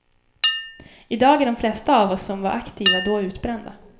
Idag är de flesta av oss som var aktiva då utbrända.